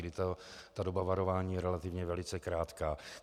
Kdy ta doba varování je relativně velice krátká.